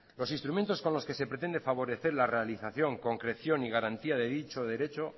los instrumentos con los que se pretende favorecer la realización concreción y garantía de dicho derecho